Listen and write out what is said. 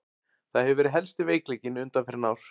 Það hefur verið helsti veikleikinn undanfarin ár.